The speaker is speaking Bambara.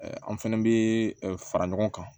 An fɛnɛ bɛ fara ɲɔgɔn kan